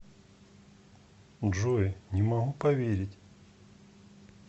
джой не могу поверить